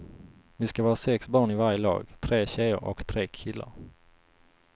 Vi ska vara sex barn i varje lag, tre tjejer och tre killar.